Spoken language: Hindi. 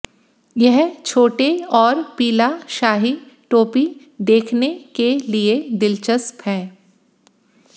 यह छोटे और पीला शाही टोपी देखने के लिए दिलचस्प है